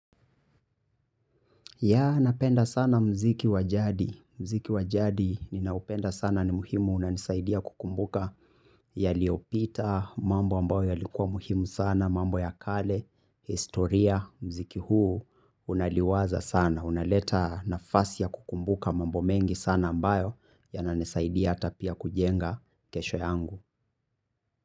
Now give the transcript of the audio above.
Yea, napenda sana mziki wa jadi. Mziki wa jadi ninaupenda sana ni muhimu unanisaidia kukumbuka yaliopita, mambo ambayo yalikuwa muhimu sana, mambo ya kale, historia, mziki huu, unaliwaza sana. Unaleta nafasi ya kukumbuka mambo mengi sana ambayo yananisaidia ata pia kujenga kesho yangu.